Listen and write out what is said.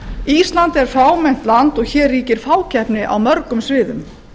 ísland er fámennt land og hér ríkir fákeppni á mörgum sviðum